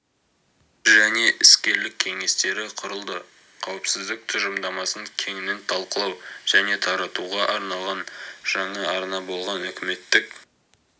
және іскерлік кеңестері құрылды қауіпсіздік тұжырымдамасын кеңінен талқылау және таратуға арналған жаңа арна болған үкіметтік